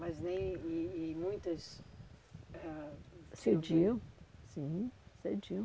Mas nem, e e muitas... eh ãh, Cediam, sim, cediam.